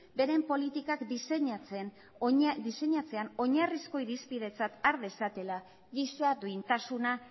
beren politikak diseinatzean oinarrizko irizpidetzat har dezatela giza duintasuna